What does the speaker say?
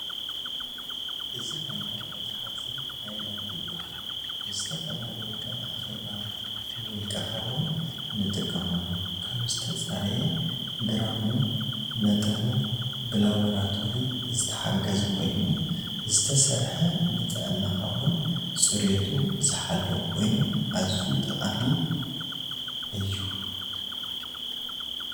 እዚ ናይ ማይ መተሐዚ ሃይላንድ ይብሃል ንዝተፈላላዪ ከም አኬባ፣ ንውልቀካ እውን ንጥቀመሉ ካብ ዝተፃረየ ግራሙ መጠኑ ብላውራቶሪ ዝተሓገዘ ኮይኑ ዝተሰርሐ ንጥዕናከ እውን ፅሬቱ መዝሓለወ ኮይኑ አዝዩ ጠቃሚ ዝኩ እዩ።